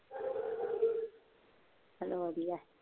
ਚੱਲ ਵਧੀਆ।